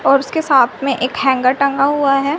और उसके साथ में एक हैंगर टंगा हुआ है।